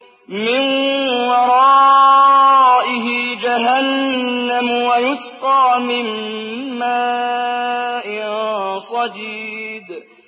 مِّن وَرَائِهِ جَهَنَّمُ وَيُسْقَىٰ مِن مَّاءٍ صَدِيدٍ